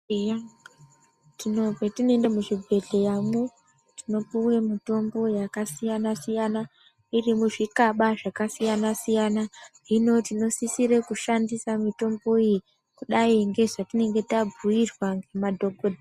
Eya, patinoende muzvibhedhleyamwo tinopuwe mitombo yakasiyana-siyana, iri muzvikaba zvakasiyana-siyana, hino tinosisire kushandisa mitombo iyi kudai ngezvatinenge tabhuirwa ngemadhokodheya.